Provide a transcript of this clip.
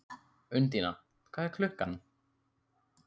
Undína, hvað er klukkan?